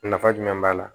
Nafa jumɛn b'a la